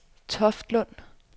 Toftlund